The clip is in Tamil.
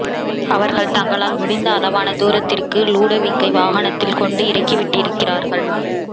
அவர்கள் தங்களால் முடிந்த அளவான தூரத்திற்கு லுடோவிக்கை வாகனத்தில் கொண்டு இறக்கிவிட்டிருக்கிறார்கள்